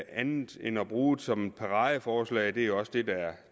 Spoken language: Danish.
andet end at bruge som et paradeforslag det er også det der